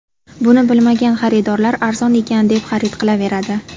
Buni bilmagan xaridorlar arzon ekan deb xarid qilaveradi.